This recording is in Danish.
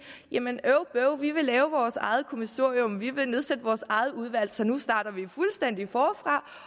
øv bøv vi vil lave vores eget kommissorium vi vil nedsætte vores eget udvalg så nu starter vi fuldstændig forfra